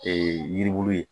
Ee yiribulu ye